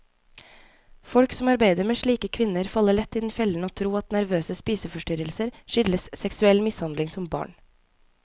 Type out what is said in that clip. Folk som arbeider med slike kvinner, faller lett i den fellen å tro at nervøse spiseforstyrrelser skyldes seksuell mishandling som barn.